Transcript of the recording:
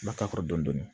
Ma ka kɔrɔ dɔni